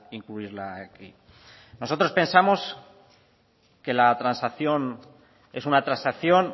incluirla aquí nosotros pensamos que la transacción es una transacción